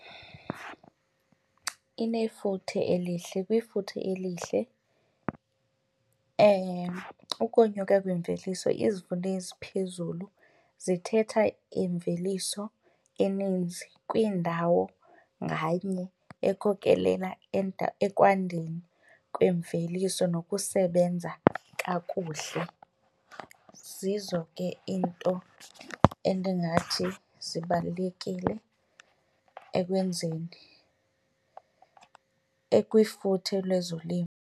Inefuthe elihle. Kwifuthe elihle ukonyuka kwemveliso izivuno eziphezulu zithetha imveliso eninzi kwiindawo nganye ekhokelela ekwandeni kwemveliso nokusebenza kakuhle. Zizo ke iinto endingathi zibalulekile ekwenzeni ekwifuthe lezolimo.